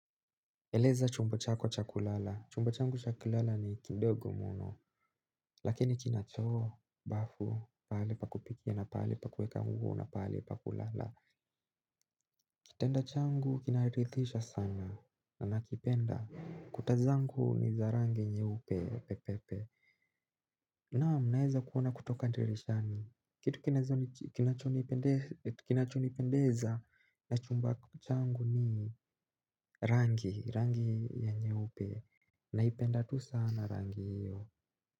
Eleza chumba chako cha kulala? Chumba changu cha kulala ni kidogo muno. Lakini kina choo, bafu, pahali pa kupikia, na pahali pa kuweka nguo na pahali pa kulala. Kitanda changu kinarithisha sana na nakipenda. Kuta zangu ni za rangi nyeupe pe! Pe! Pe! Naam naeza kuona kutoka ndirishani. Kitu kinacho nipendeza na chumba changu ni rangi nyeupe. Naipenda tu sana rangi hiyo.